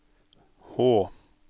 H